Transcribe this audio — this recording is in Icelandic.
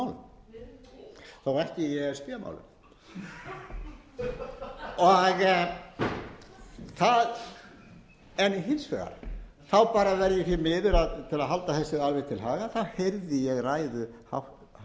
málum þó ekki í e s b málum hins vegar bara verð ég því miður til að halda þessu alveg til haga þá heyrði ég ræðu hæstvirts forsætisráðherra á